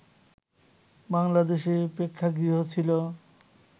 বাংলাদেশে প্রেক্ষাগৃহ ছিল